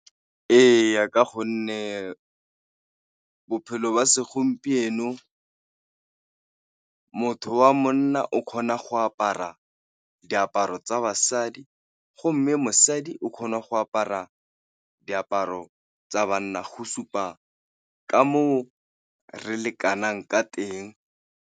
Ee, ka gonne bophelo jwa segompieno motho wa monna o kgona go apara diaparo tsa basadi, go mme mosadi o kgona go apara diaparo tsa banna go supa ka mo re lekanang ka teng.